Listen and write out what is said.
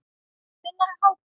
Hvenær er hádegi?